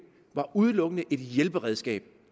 var udelukkende et hjælperedskab